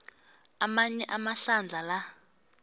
amanye amahlandla la